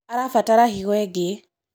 arabatara higo ingĩ